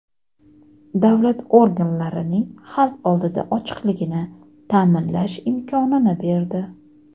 davlat organlarining xalq oldida ochiqligini ta’minlash imkonini berdi.